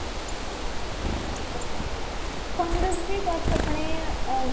fungus ਵੀ ਬੱਸ ਆਪਣੇ ah